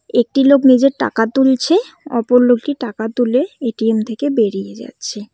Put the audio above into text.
একটি লোক নিজের টাকা তুলছে অপর লোকটি টাকা তুলে এ_টি_এম থেকে বেরিয়ে যাচ্ছে।